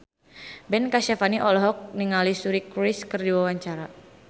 Ben Kasyafani olohok ningali Suri Cruise keur diwawancara